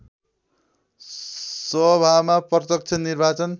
सभामा प्रत्यक्ष निर्वाचन